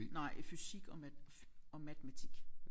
Nej i fysik og mat og matematik